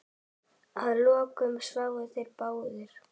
Að lokum sváfu þeir báðir.